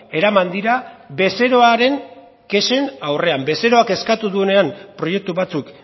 eraman dira bezeroaren kexen aurrean bezeroak eskatu duenean proiektu batzuk